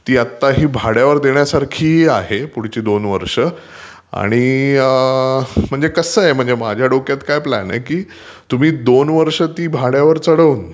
ती आताही भाड्यावर देण्यासारखी आहे पुढची दोन वर्ष. आणि म्हणजे कसं आहे, माझ्या दोक्यात काय प्लान आहे की तुम्ही दोन वर्ष ती भाड्यवर चढवून,